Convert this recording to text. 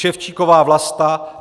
Ševčíková Vlasta